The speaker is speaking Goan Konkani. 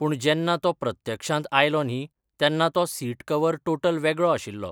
पूण जेन्ना तो प्रत्यक्षांत आयलो न्ही तेन्ना तो सीट कवर टोटल वेगळो आशिल्लो.